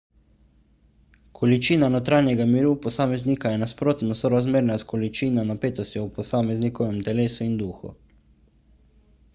količina notranjega miru posameznika je nasprotno sorazmerna s količino napetosti v posameznikovem telesu in duhu